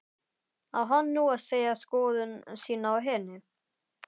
Á hann nú að segja skoðun sína á henni?